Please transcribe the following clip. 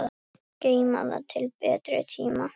Geyma það til betri tíma.